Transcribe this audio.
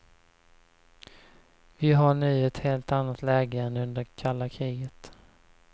Vi har nu ett helt annat läge än under kalla kriget.